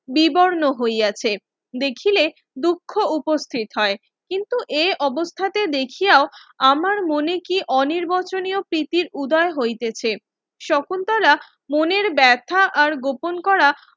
বিবর্ণ হইয়াছে দেখিলে দুঃখ উপস্থিত হয় কিন্তু এ অবস্থাতে দেখিয়াও আমার মনে কি অর্নিবর্চনীয় প্রীতির উদয় হইতেছে শকুন্তলা মনের বেথা আর গোপন করা